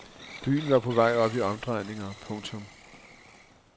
Byen var på vej op i omdrejninger. punktum